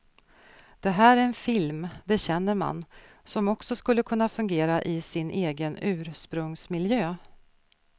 Det här är en film, det känner man, som också skulle kunna fungera i sin egen ursprungsmiljö.